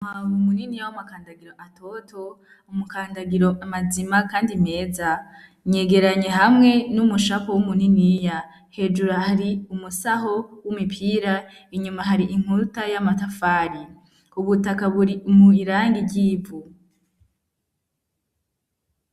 Maawa umunini ya w'amakandagiro atoto umukandagiro amazima, kandi meza nyegeranye hamwe n'umushapo w'umuniniya hejuru hari umusaho w'umipira inyuma hari inkuruta y'amatafari ubutaka buri mwirangi ryivu.